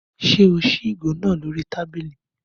Ṣé o ṣí ìgò náà lórí tábìlì?